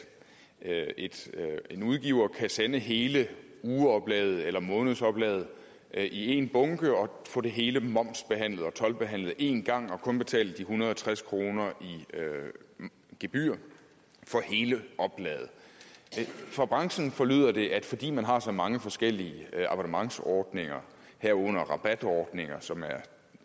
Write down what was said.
at en udgiver kan sende hele ugeoplaget eller månedsoplaget i en bunke og få det hele momsbehandlet og toldbehandlet en gang og kun betale de en hundrede og tres kroner i gebyr for hele oplaget fra branchen forlyder det at fordi man har så mange forskellige abonnementsordninger herunder rabatordninger som er